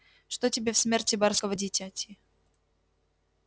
что тебе в смерти барского дитяти